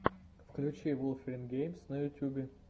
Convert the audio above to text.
включи вулфирин гейм на ютубе